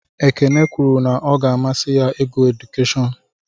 Ekene kwuru na ọ ga-amasị ya ịgụ edukeshọn.